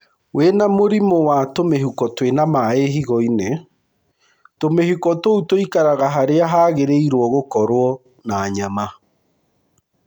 Wĩna mũrimũ wa tũmĩhuko twĩna maĩ higo-inĩ, tũmĩhuko tũu tũikaraga harĩa hagĩrĩirwo gũkorwo na nyama.